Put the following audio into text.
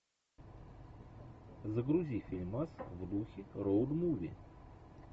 загрузи фильмас в духе роуд муви